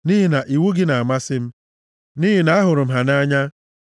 nʼihi na iwu gị na-amasị m nʼihi na ahụrụ m ha nʼanya.